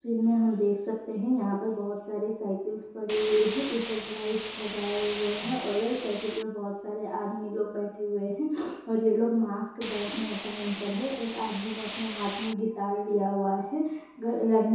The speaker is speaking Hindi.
फील्ड में हम देख सकते हैं यहाँ पर बहुत सारी साइकल्स पड़ी हुई है ऊपर लाइटस लगाए हुए है और साइकिल पे बहुत सारे आदमी लोग बेठे हुए हैं और ये लोग मास्क पहन कर हैं एक आदमी ने अपने हाथ में गिटार लिया हुआ है |